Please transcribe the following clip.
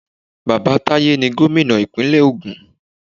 Bàbá Taye ni gómìnà ìpínlẹ̀ ògùn.